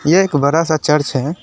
एक बड़ा सा चर्च है।